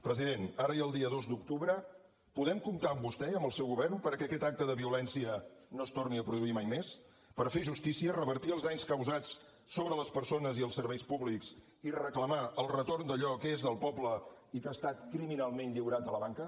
president ara i el dia dos d’octubre podem comptar amb vostè i amb el seu govern perquè aquest acte de violència no es torni a produir mai més per fer justícia revertir els danys causats sobre les persones i els serveis públics i reclamar el retorn d’allò que és del poble i que ha estat criminalment lliurat a la banca